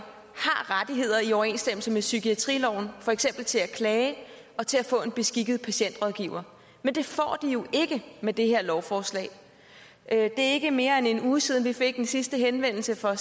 har rettigheder i overensstemmelse med psykiatriloven for eksempel til at klage og til at få en beskikket patientrådgiver men det får de jo ikke med det her lovforslag det er ikke mere end en uge siden vi fik den sidste henvendelse fra